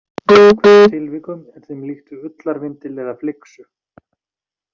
Í einhverjum tilvikum er þeim líkt við ullarvindil eða flyksu.